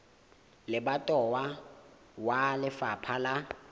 wa lebatowa wa lefapha la